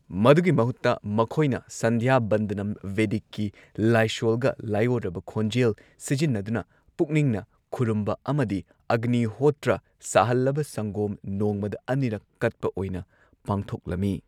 ꯃꯗꯨꯒꯤ ꯃꯍꯨꯠꯇ ꯃꯈꯣꯏꯅ ꯁꯟꯙ꯭ꯌꯥꯕꯟꯗꯅꯝ ꯚꯦꯗꯤꯛꯀꯤ ꯂꯥꯏꯁꯣꯜꯒ ꯂꯥꯢꯑꯣꯢꯔꯕ ꯈꯣꯟꯖꯦꯜ ꯁꯤꯖꯤꯟꯅꯗꯨꯅ ꯄꯨꯛꯅꯤꯡꯅ ꯈꯨꯔꯨꯝꯕ ꯑꯃꯗꯤ ꯑꯒꯅꯤꯍꯣꯠꯇ꯭ꯔ ꯁꯥꯍꯜꯂꯕ ꯁꯪꯒꯣꯝ ꯅꯣꯡꯃꯗ ꯑꯅꯤꯔꯛ ꯀꯠꯄ ꯑꯣꯏꯅ ꯄꯥꯡꯊꯣꯛꯂꯝꯃꯤ꯫